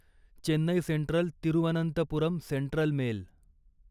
Chennai Central Thiruvananthapuram Central mail